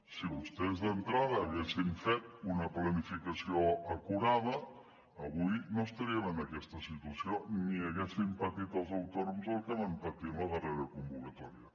si vostès d’entrada haguessin fet una planificació acurada avui no estaríem en aquesta situació ni haguessin patit els autònoms el que van patir en la darrera convocatòria